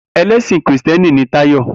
Elèsin kìristíèni ni Tayo